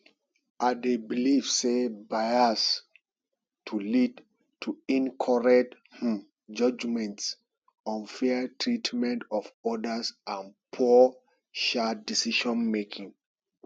i dey believe say bias to lead to incorrect um judgements unfair treatment of odas and poor um decisionmaking